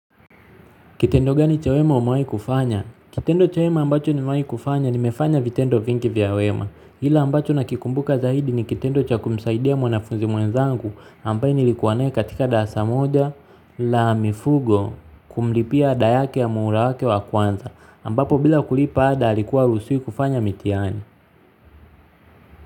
Kitendo gani cha wema umewai kufanya? Kitendo cha wema ambacho nimewai kufanya nimefanya vitendo vingi vya wema. Ila ambacho nakikumbuka zaidi ni kitendo cha kumsaidia mwanafuzi mwenzangu ambaye nilikuwa naye katika darasa moja la mifugo kumlipia ada yake ya muhula wake wa kwanza ambapo bila kulipa ada alikuwa haruhusuwi kufanya mitiani.